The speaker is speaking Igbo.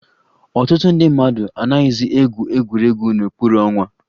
Ọtụtụ ndị mmadụ anaghịzị egwu egwuregwu n'okpuru ọnwa